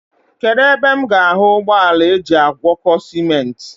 Kedụ ebe m ga-ahụ ụgbọala ajị agwọkọ simenti.